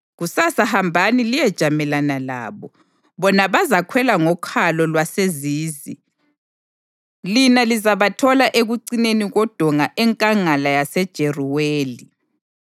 Kusasa hambani liyejamelana labo. Bona bazakhwela ngokhalo lwaseZizi, lina lizabathola ekucineni kodonga eNkangala yaseJeruweli.